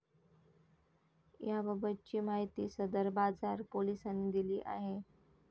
याबाबतची माहिती सदर बाजार पोलिसांनी दिली आहे.